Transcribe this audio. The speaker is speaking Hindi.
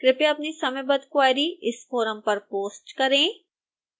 कृपया अपनी समयबद्ध क्वेरी इस फोरम पर पोस्ट करें